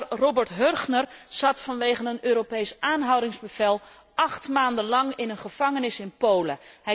De Nederlander Robert Hörchner zat vanwege een Europees aanhoudingsbevel acht maanden lang in een gevangenis in Polen.